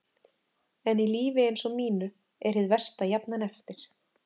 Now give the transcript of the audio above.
En í lífi eins og mínu er hið versta jafnan eftir.